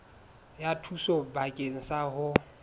ya thuso bakeng sa ho